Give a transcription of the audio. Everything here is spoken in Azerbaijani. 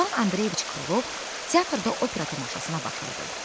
İvan Andreyeviç Krılov teatrda opera tamaşasına baxırdı.